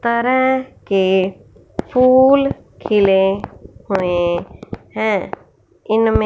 तरह के फूल खिले हुए हैं इनमें।